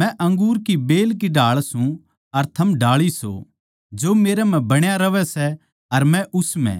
मै अंगूर की बेल की ढाळ सूं अर थम डाळी सो जो मेरै म्ह बण्या रहवै सै अर मै उस म्ह